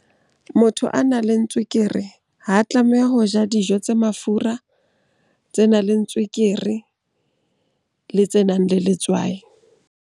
Motho a nang le tswekere ha tlameha ho ja dijo tse mafura, tse nang le tswekere, le tse nang le letswai.